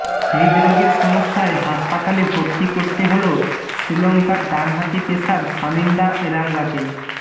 হৃদরোগের সমস্যায় হাসপাতালে ভর্তি করতে হল শ্রীলঙ্কার ডানহাতি পেসার শামিন্ডা এরাঙ্গাকে